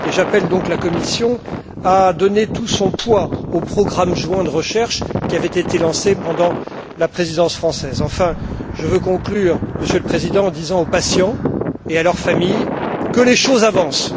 J'appelle donc la Commission à donner tout son poids au programme commun de recherche qui avait été lancé pendant la Présidence française. Enfin, je veux conclure en disant aux patients et à leur famille que les choses avancent.